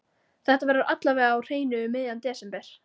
Þetta verður alla vega á hreinu um miðjan desember.